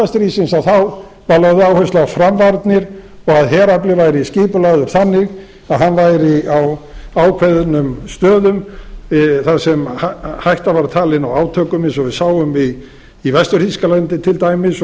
stríðsins var lögð áhersla á framvarnir og að herafli væri skipulagður þannig að hann væri á ákveðnum stöðum þar sem hætta var talin á átökum eigi og við sáum í vestur þýskalandi til dæmis og